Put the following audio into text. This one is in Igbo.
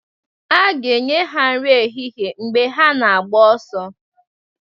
a ga-enye ha nri ehihie mgbe ha na-agba ọsọ